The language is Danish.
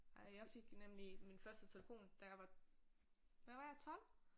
Ej jeg fik nemlig min første telefon da jeg var hvad var jeg 12?